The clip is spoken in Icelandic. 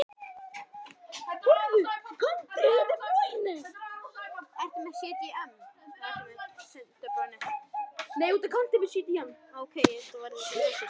Þá minnkar yfirborðið, loftskipti lungnanna versna og viðkomandi verður móður við minnstu áreynslu.